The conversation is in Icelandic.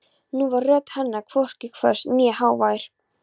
Nú var rödd hennar hvorki hvöss né hávær.